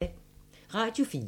Radio 4